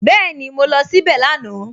Bẹ́ẹ̀ni, mo lọ síbẹ̀ lánàá